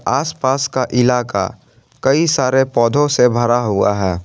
आसपास का इलाका कई सारे पौधों से भरा हुआ है।